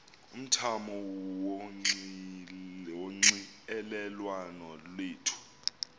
umthamo wonxielelwano lwethu